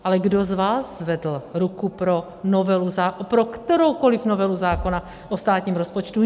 Ale kdo z vás zvedl ruku pro kteroukoliv novelu zákona o státním rozpočtu?